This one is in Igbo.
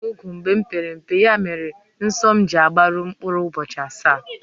Ebìri m úgwù mgbe m pere mpe, ya mere nsọ m ji agbaru mkpụrụ ụbọchị asaá